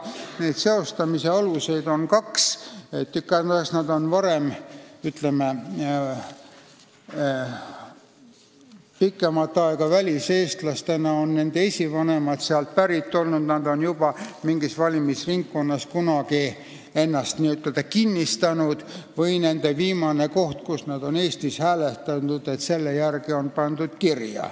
Neid seostamise aluseid on kaks: kas nad on olnud pikemat aega väliseestlased, nende esivanemad on sealt piirkonnast pärit olnud ja nad on juba mingis valimisringkonnas kunagi ennast n-ö kinnistanud või on nad pandud kirja viimase koha järgi, kus nad on Eestis hääletanud.